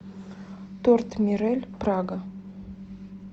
торт мирель прага